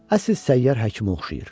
Əsl səyyar həkimə oxşayır.